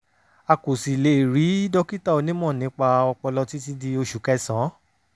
a kò sì lè rí dókítà onímọ̀ nípa ọpọlọ títí di oṣù kẹsàn-án